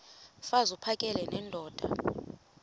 mfaz uphakele nendoda